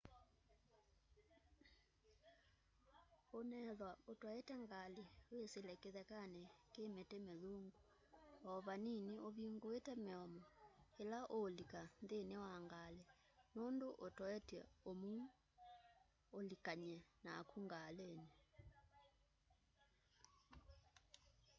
unethwa utwaite ngali wisile kithekani ki miti mithungu o vanini uvinguite miomo ila uulika nthini wa ngali nundu utoetye umuu ulikany'e naku ngalini